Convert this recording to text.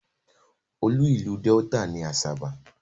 Olú ìlú Delta ni Asaba.